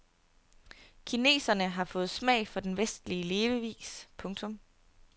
Kineserne har fået smag for den vestlige levevis. punktum